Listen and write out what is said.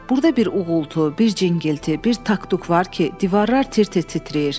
Burda bir uğultu, bir cingilti, bir taktuka var ki, divarlar tir-tir titrəyir.